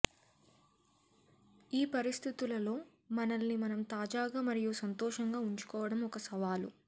ఈ పరిస్థితులలో మనల్ని మనం తాజాగా మరియు సంతోషంగా ఉంచుకోవడం ఒక సవాలు